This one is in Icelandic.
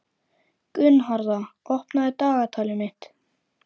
Gunnharða, opnaðu dagatalið mitt.